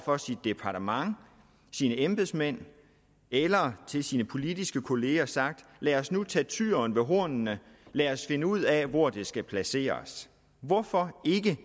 for sit departement sine embedsmænd eller til sine politiske kolleger sagt lad os nu tage tyren ved hornene og lad os finde ud af hvor det skal placeres hvorfor ikke